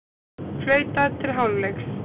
Flautað til hálfleiks